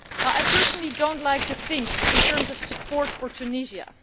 I personally do not like to think in terms of support for Tunisia.